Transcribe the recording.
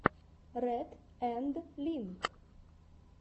ретт энд линк